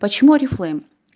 почему орифлэйм